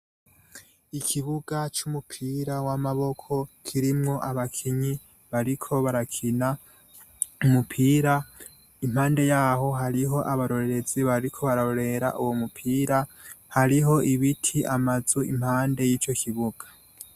Ikibuga c'umupira w'amaboko kirimwo abakinyi bariko barakina umupira impande yaho hariho abarorerezi bariko barorera uwo mupira hariho ibiti amazu impande y'ico kibuga.